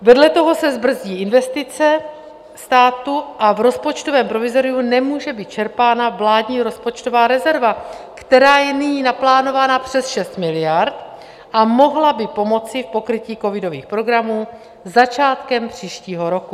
Vedle toho se zbrzdí investice státu a v rozpočtovém provizoriu nemůže být čerpána vládní rozpočtová rezerva, která je nyní naplánovaná přes 6 miliard, a mohla by pomoci k pokrytí covidových programů začátkem příštího roku.